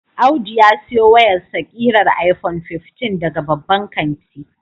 Audu ya siyo wayarsa kirar iPhone 15 daga babban kanti.